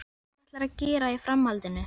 Hvað ætlarðu að gera í framhaldinu?